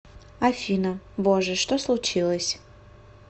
афина боже что случилось